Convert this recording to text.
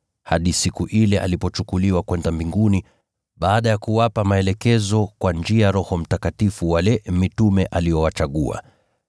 hadi siku ile alipochukuliwa kwenda mbinguni, baada ya kuwapa maagizo kupitia kwa Roho Mtakatifu wale mitume aliowachagua.